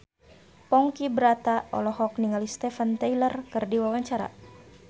Ponky Brata olohok ningali Steven Tyler keur diwawancara